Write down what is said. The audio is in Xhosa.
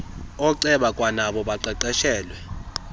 ooceba kwanabo baqeqeshelwe